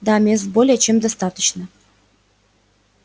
да мест более чем достаточно